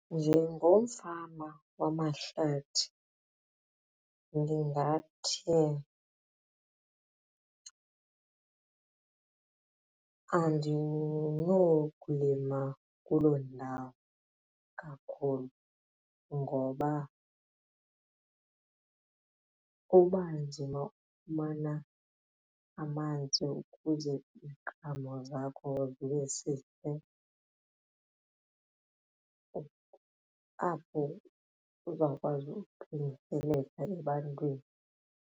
Njengomfama wamahlathi ndingathi andinokulima kuloo ndawo kakhulu ngoba uba ndinokufumana amanzi ukuze iziqhamo zakho zibe sihle apho uzawukwazi ukuthengiseleka ebantwini.